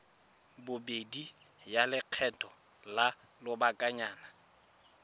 bobedi ya lekgetho la lobakanyana